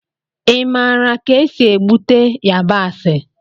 Ị maara ka esi egbute yabasị?